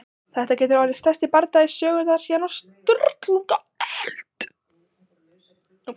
Þetta getur orðið stærsti bardagi Íslandssögunnar síðan á Sturlungaöld!